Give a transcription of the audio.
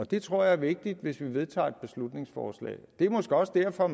det tror jeg er vigtigt hvis vi vedtager et beslutningsforslag det er måske også derfor